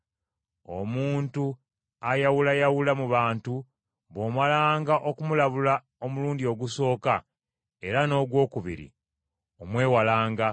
Omuntu ayawulayawula mu bantu bw’omalanga okumulabula omulundi ogusooka, era n’ogwokubiri, omwewalanga,